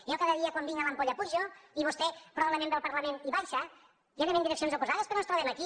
jo cada dia quan vinc de l’ampolla pujo i vostè probablement ve al parlament i baixa i anem en direccions oposades però ens trobem aquí